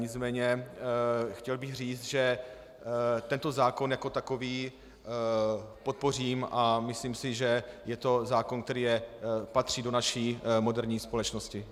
Nicméně chtěl bych říct, že tento zákon jako takový podpořím, a myslím si, že je to zákon, který patří do naší moderní společnosti.